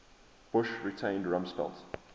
bush retained rumsfeld